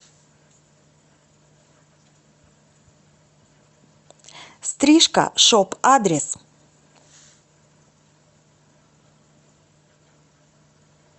стрижка шоп адрес